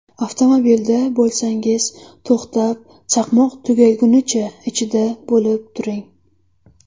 Avtomobilda bo‘lsangiz to‘xtab, chaqmoq tugagunicha ichida bo‘lib turing.